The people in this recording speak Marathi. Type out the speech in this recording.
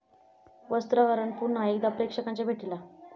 वस्त्रहरण' पुन्हा एकदा प्रेक्षकांच्या भेटीला